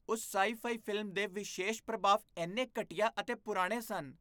ਉਸ sci fi film ਦੇ ਵਿਸ਼ੇਸ਼ ਪ੍ਰਭਾਵ ਇੰਨੇ ਘਟੀਆ ਅਤੇ ਪੁਰਾਣੇ ਸਨ